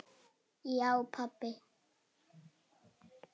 Já pabbi.